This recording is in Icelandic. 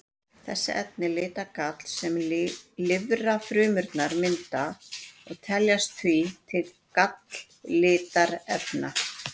Þessi efni lita gall sem lifrarfrumurnar mynda og teljast því til galllitarefna.